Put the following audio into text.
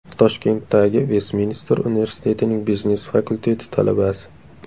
Toshkentdagi Vestminster universitetining biznes fakulteti talabasi.